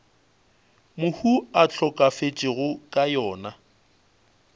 mohu a hlokafetšego ka yona